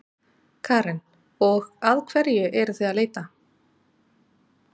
Karen: Og að hverju eruð þið að leita?